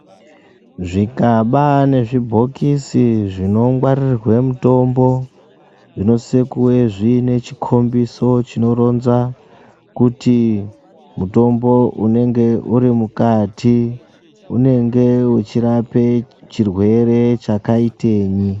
Zvigaba nezvibhokisi zvinongwaririrwe mitombo zvinosise kunge zviine chikhombiso chinoronza, kuti mutombo unenge urimukati, unenge uchirape chirwere chakaitenyi.